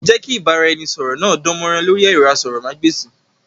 Jẹ́ kí ìbára ẹni sọ̀rọ̀ náà dán mọ́rán lórí ẹ̀rọ asọ̀rọ̀mágb'èsì!